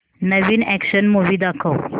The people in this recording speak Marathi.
नवीन अॅक्शन मूवी दाखव